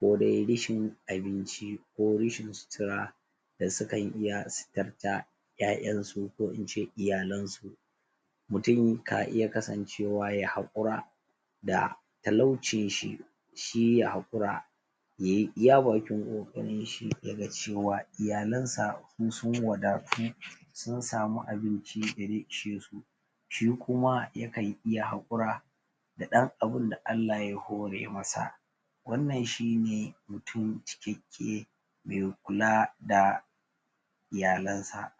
ko de rashin abinci ko rashin sutura da su kan iya suturta ƴaƴansu ko in ce iyalansu mutum ka iya kasancewa ya haƙura da talaucinshi shi ya haƙura ya yi iya bakin ƙoƙarinshi ya ga cewa iyalansa su sun wadatu sun samu abinci da ze ishe su shi kuma ya kan iya haƙura da ɗan abin da Allah ya hore masa wannan shi ne mutum cikakke me kula da iyalansa